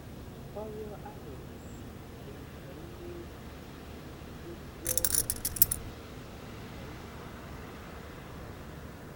“Ọrụ ahụ bụ maka ndị ozi ozi gọọmentị, ” ka m zara.